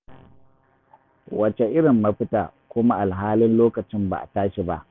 Wace irin mafita kuma alhalin lokacin ba a tashi ba.